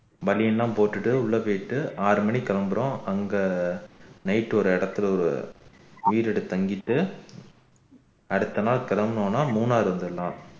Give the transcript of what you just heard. banian தான் போட்டுட்டு உள்ள போயிட்டு ஆறு மணிக்கு கிளம்புறம் அங்க night ஒரு இடத்துல ஒரு வீடு எடுத்து தங்கிட்டு அடுத்த நாள் கிளம்பினோம்னா மூணாரு வந்துடலாம்